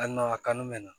Ali n'a kanu bɛ na